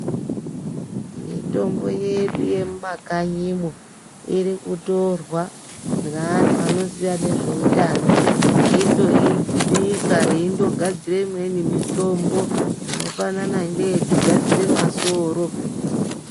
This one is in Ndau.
Mitombo yedu yemumakanyimwo, iri kutorwa ngeanhu anoziya nezveutano, eindoibika, eindonadzire imweni mitombo, inofanana neyekugadzire masoro.